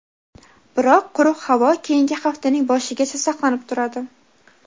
biroq quruq havo keyingi haftaning boshigacha saqlanib turadi.